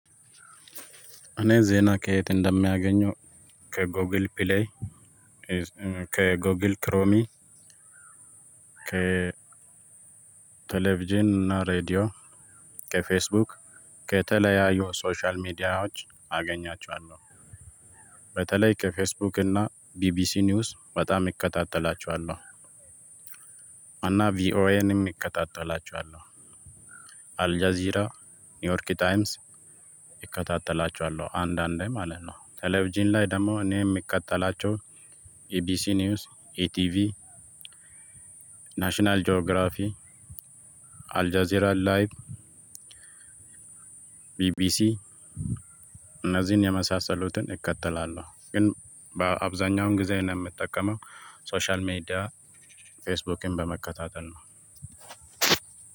እኔ ዜና ከየት እንደማገኘው ከጎግል ፕሌይ ከጎግል ክሮሚ ከ ቴሌቪዥን እና ሬድዮ ከፌስቡክ ከተለያዩ ሶሻል ሚዲያዎች አገኛቸዋለሁ። በተለይ ከፌስቡክ እና ቢቢሲ ኒውስ በጣም እከታተላችኋል። አና ቪኦኤንም እከታተላቸዋለሁ። አልጃዚራ ኒውዮርክ ታይምስ እከታተላቸዋለሁ አንዳንዴ ማለት ነው። ቴሌቪዥን ላይ ደግሞ እኔ የሚከተላቸው ኢቢሲ ኒውስ ኢቲቪ። ናሽናል ጂኦግራፊ አልጀዚራን ላይቭ። ቢቢሲ እነዚህን የመሳሰሉትን እከተላለሁ። ግን በአብዛኛው ጊዜ እኔ የምጠቀመው ሶሻል ሜዲያ ፌስቡክን በመከታተል ነው።